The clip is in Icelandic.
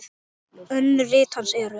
Önnur rit hans eru